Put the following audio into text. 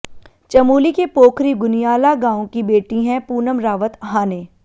चमोली के पोखरी गुनियाला गांव की बेटी हैं पूनम रावत हाने